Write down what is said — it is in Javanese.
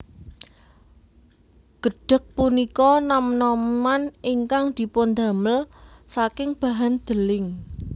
Gedhèg punika nam naman ingkang dipundamel saking bahan deling